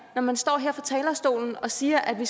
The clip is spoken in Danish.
når man står her på talerstolen og siger at vi